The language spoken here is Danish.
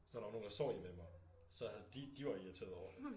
Så der var nogen der sov hjemme ved mig så havde de de var irriteret over det